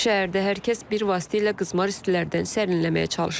Şəhərdə hər kəs bir vasitə ilə qızmar istilərdən sərinləməyə çalışır.